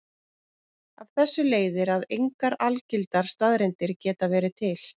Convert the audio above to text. Af þessu leiðir að engar algildar staðreyndir geta verið til.